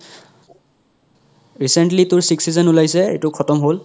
recently তোৰ sixth season ওলাইছে ইতো সতম হ'ল